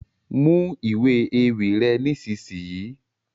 Mú ìwé ewì rẹ nisisiyi!